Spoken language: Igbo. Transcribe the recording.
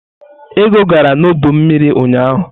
Ego gara n'ọdọ mmiri ụnyaahụ?